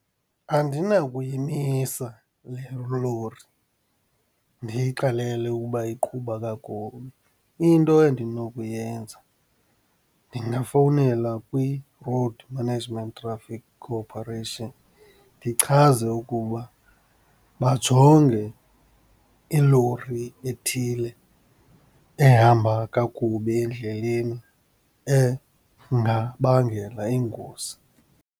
Andinakuyimisa le lori, ndiyixelele ukuba iqhuba kakubi. Into endinokuyenza ndingafowunela kwi-Road Management Traffic Corporation ndichaze ukuba bajonge ilori ethile ehamba kakubi endleleni, engabangela ingozi.